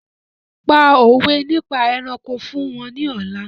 Pa òwé nípa ẹranko fún wọn ní ọ̀la!